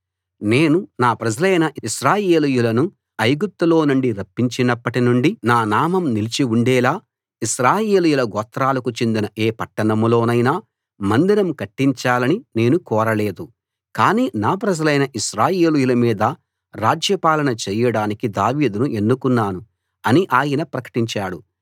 నేను నా ప్రజలైన ఇశ్రాయేలీయులను ఐగుప్తులో నుండి రప్పించినప్పటి నుండి నా నామం నిలిచి ఉండేలా ఇశ్రాయేలీయుల గోత్రాలకు చెందిన ఏ పట్టణంలో నైనా మందిరం కట్టించాలని నేను కోరలేదు కానీ నా ప్రజలైన ఇశ్రాయేలీయుల మీద రాజ్యపాలన చేయడానికి దావీదును ఎన్నుకున్నాను అని ఆయన ప్రకటించాడు